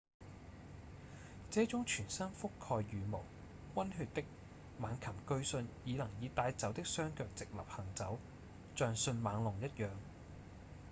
這種全身覆蓋羽毛、溫血的猛禽據信已能以帶爪的雙腳直立行走像迅猛龍一樣